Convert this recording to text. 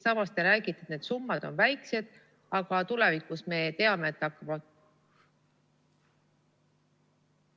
Samas te räägite, et need summad on väiksed, aga tulevikus me teame, et hakkame ...